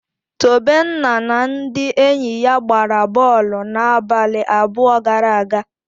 Tobenna na ndị enyi ya gbara bọọlụ n'abalị abụọ gara aga.